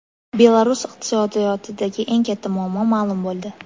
Belarus iqtisodiyotidagi eng katta muammo ma’lum bo‘ldi.